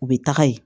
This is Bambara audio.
U bɛ taga yen